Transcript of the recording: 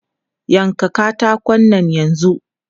Yanka katakon nan yanzu!